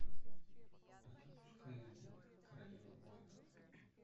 запускай зена королева воинов